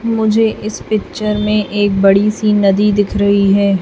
मुझे इस पिक्चर में एक बड़ी सी नदी दिख रही है।